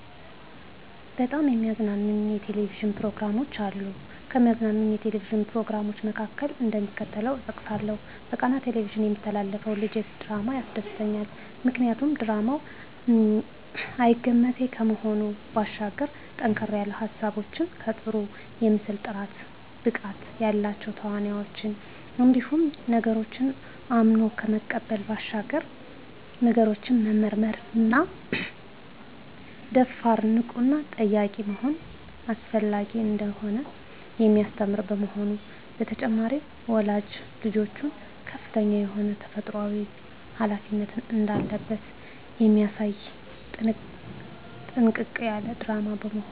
በጣም የሚያዝናኑኝ የ"ቴሌቪዥን" ፕሮግራሞች አሉ፣ ከሚያዝናናኝ የ"ቴሌቪዥን" "ፕሮግራም" መካከል፣ እደሚከተለው እጠቅሳለሁ በቃና "ቴሌቪዥን" የሚተላለፈው ልጀስ ድራማ ያስደስተኛል። ምክንያቱ ድራማው አይገመቴ ከመሆኑ ባሻገር ጠንከር ያሉ ሀሳቦች ከጥሩ የምስል ጥራት፣ ብቃት ያላቸው ተዋናኞች እንዲሁም ነገሮችን አምኖ ከመቀበል ባሻገር ነገሮችን መመርመርና ደፋር፣ ንቁና ጠያቂ መሆን አስፈላጊ እንደሆነ የሚያስተምር በመሆኑ። በተጨማሪም ወላጅ ልጆቹ ከፍተኛ የሆነ ተፈጥሮአዊ ሀላፊነት እንዳለበት የሚያሳይ ጥንቅቅ ያለ ድራማ በመሆኑ።